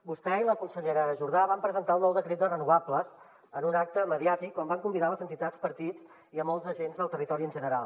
vostè i la consellera jordà van presentar el nou decret de renovables en un acte mediàtic on van convidar les entitats partits i molts agents del territori en general